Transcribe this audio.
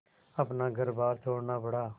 अपना घरबार छोड़ना पड़ा